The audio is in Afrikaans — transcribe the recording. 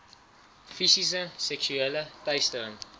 fisiese seksuele teistering